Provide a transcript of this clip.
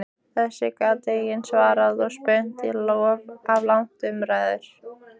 Þessu gat enginn svarað og spunnust af langar umræður.